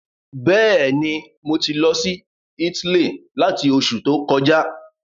Bẹ́ẹ̀ni, mo ti lọ sí Italy látí Oṣù to kọjá